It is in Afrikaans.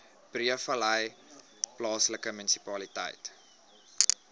breedevallei plaaslike munisipaliteit